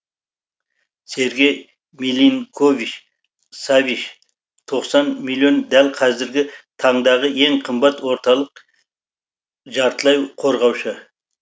сергей милинкович савич тоқсан миллион дәл қазіргі таңдағы ең қымбат орталық жартылай қорғаушы